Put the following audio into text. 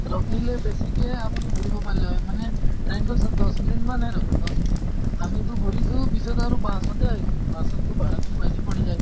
ৰখিলে বেছিকে আপুনি ঘুৰিব পাৰিলে হয় মানে time তো দশ minute মান্হে ৰখে দশ minute আমি টো ঘুৰিছো পিছত আৰু bus তে আহিছো। bus ত ভাড়াতো বেছি পৰি যায়।